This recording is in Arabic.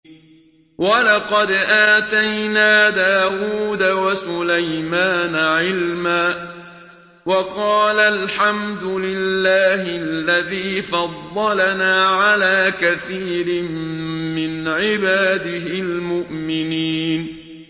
وَلَقَدْ آتَيْنَا دَاوُودَ وَسُلَيْمَانَ عِلْمًا ۖ وَقَالَا الْحَمْدُ لِلَّهِ الَّذِي فَضَّلَنَا عَلَىٰ كَثِيرٍ مِّنْ عِبَادِهِ الْمُؤْمِنِينَ